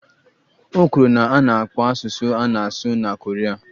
O kwuru na a na-akpọ asụsụ a na-asụ na Koria